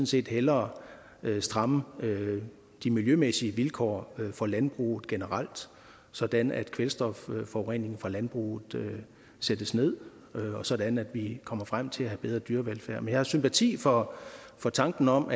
set hellere stramme de miljømæssige vilkår for landbruget generelt sådan at kvælstofforureningen fra landbruget sættes ned og sådan at vi kommer frem til at have bedre dyrevelfærd men jeg har sympati for for tanken om